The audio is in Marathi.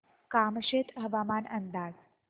कामशेत हवामान अंदाज